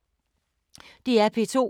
DR P2